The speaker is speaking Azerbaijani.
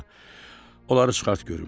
Ana, onları çıxart görüm.